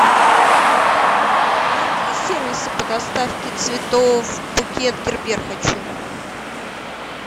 найди сервисы по доставке цветов букет гербер хочу